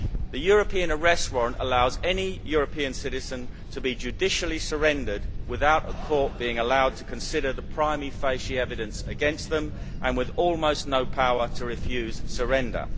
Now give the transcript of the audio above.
The European Arrest Warrant allows any European citizen to be judicially surrendered without a court being allowed to consider the prima facie evidence against them and with almost no power to refuse surrender.